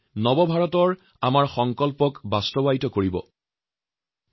এই আত্মবিশ্বাস ইতিবাচক মানসিকতাই নিউ Indiaৰ সংকল্পক বাস্তবায়িত কৰিব ফলত সপোন সাৰ্থক হব